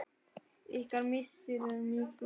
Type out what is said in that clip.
Ykkar missir er mikil.